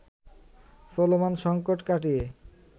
চলমান সংকট কাটিয়ে